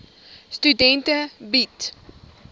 studente bied